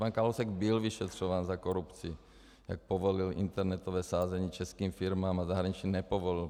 Pan Kalousek byl vyšetřován za korupci, jak povolil internetové sázení českým firmám a zahraničním nepovolil.